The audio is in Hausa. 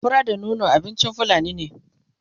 fura da nono abincin fulani ne